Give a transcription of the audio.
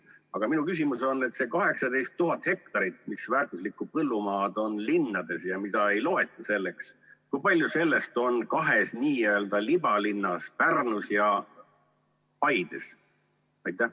Aga minu küsimus on, et see 18 000 hektarit, mis väärtuslikku põllumaad on linnades ja mida ei loeta selleks – kui palju sellest on kahes n-ö libalinnas: Pärnus ja Paides?